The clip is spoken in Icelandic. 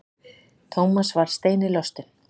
Thomas varð steini lostinn.